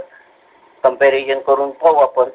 Comparison करून बघू आपण.